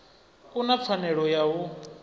u na pfanelo ya u